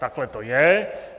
Takhle to je.